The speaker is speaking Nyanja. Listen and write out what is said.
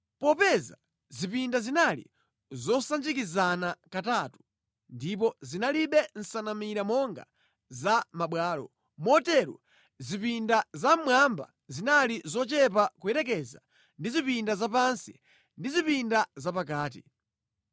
Popeza zipinda zinali zosanjikizana katatu ndipo zinalibe nsanamira monga za mabwalo, motero zipinda zamʼmwamba zinali zochepa kuyerekeza ndi zipinda zapansi ndi zipinda zapakati.